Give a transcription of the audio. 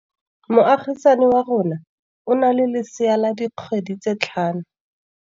Moagisane wa rona o na le lesea la dikgwedi tse tlhano.